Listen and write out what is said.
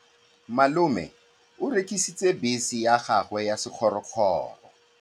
Malome o rekisitse bese ya gagwe ya sekgorokgoro.